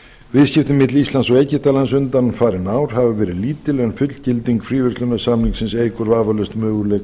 viðskipti milli íslands og egyptalands undanfarin ár hafa verið lítil en fullgilding fríverslunarsamningsins eykur vafalaust möguleika